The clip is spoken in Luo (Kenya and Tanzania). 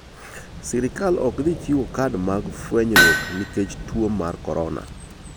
Sirkal ok dhi chiwo kad mag fwenyruok nikech tuo mar korona.